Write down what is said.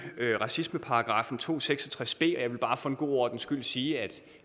racismeparagraffen to hundrede og seks og tres b jeg vil bare for god ordens skyld sige at